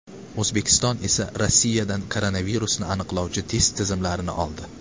O‘zbekiston esa Rossiyadan koronavirusni aniqlovchi test tizimlarini oldi .